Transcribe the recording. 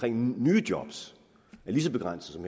nye job er lige så begrænset